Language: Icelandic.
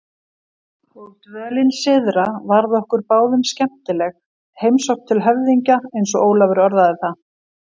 Og dvölin syðra varð okkur báðum skemmtileg, heimsókn til höfðingja eins og Ólafur orðaði það.